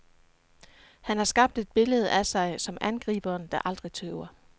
Han har skabt et billede af sig som angriberen, der aldrig tøver.